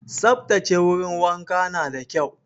Saftace wurin wanka na da kyau